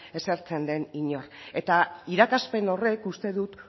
esertzen den inor eta irakaspen horrek uste dut